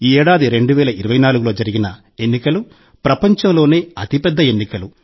ఈ ఏడాది 2024లో జరిగిన ఎన్నికలు ప్రపంచంలోనే అతి పెద్ద ఎన్నికలు